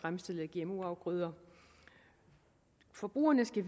fremstillet af gmo afgrøder forbrugerne skal